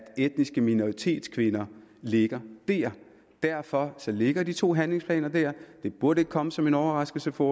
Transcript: etniske minoritetskvinder ligger der derfor ligger de to handlingsplaner der det burde ikke komme som en overraskelse for